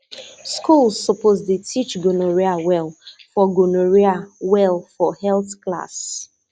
schools suppose dey teach gonorrhea well for gonorrhea well for health class